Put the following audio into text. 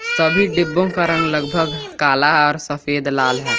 सभी डिब्बो का रंग लगभग काला और सफेद लाल है।